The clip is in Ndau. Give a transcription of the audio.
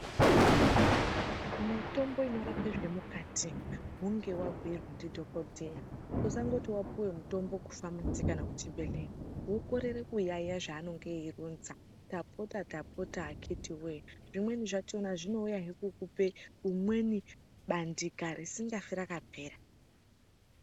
Mitombo inorape zvemukati, hunge wabuyirwa ndidhokodheya. Usangoti wapiwe mutombo kufamasi kana kuchibhedlera wokorere kuyayiya zvaanenge eyironza, tapota tapota akiti wee!,zvimweni zvachona zvinowuya ngekukupe umweni bandika risingafi rakapera.